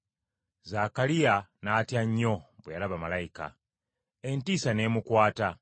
Zaakaliya n’atya nnyo bwe yalaba malayika, entiisa n’emukwata.